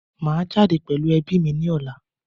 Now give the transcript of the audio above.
Maa jade pelu ebi ni ola